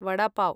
vada pav